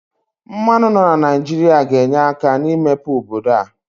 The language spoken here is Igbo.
Mmanụ nọ na Naijiria ga-enye aka n'imepe obodo a.